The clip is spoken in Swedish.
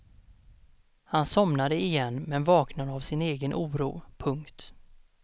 Han somnade igen men vaknade av sin egen oro. punkt